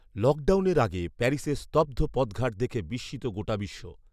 লকডাউনের আগে প্যারিসের স্তব্ধ পথঘাট দেখে বিস্মিত গোটা বিশ্ব